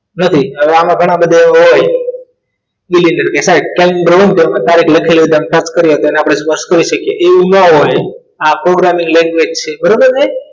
નથી હવે આમના ઘણા બધા એવા હોય ડર કેસર આપણે સ્પર્શ કરી શકીએ એવું ન હતું આખો પ્રોગ્રામિંગ language છે બરાબર